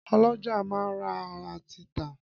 Ọ́lọjá máa ń rà àti tà